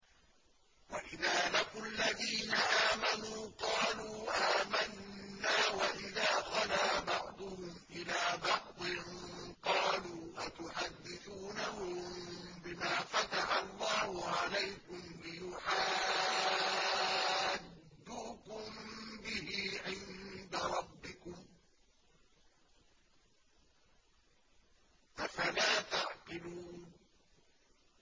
وَإِذَا لَقُوا الَّذِينَ آمَنُوا قَالُوا آمَنَّا وَإِذَا خَلَا بَعْضُهُمْ إِلَىٰ بَعْضٍ قَالُوا أَتُحَدِّثُونَهُم بِمَا فَتَحَ اللَّهُ عَلَيْكُمْ لِيُحَاجُّوكُم بِهِ عِندَ رَبِّكُمْ ۚ أَفَلَا تَعْقِلُونَ